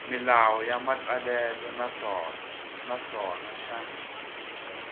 milawu ya matsalelo naswona xa